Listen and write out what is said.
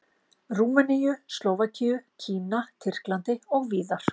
Rúmeníu, Slóvakíu, Kína, Tyrklandi og víðar.